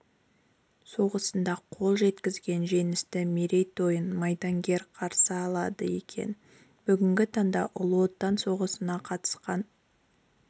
соғысында қол жеткізген жеңістің мерейтойын майдангер қарсы алады екен бүгінгі таңда ұлы отан соғысына қатысқан